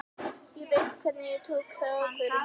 Ég veit hvenær ég tók þá ákvörðun.